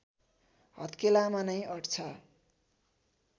हत्केलामा नै अट्छ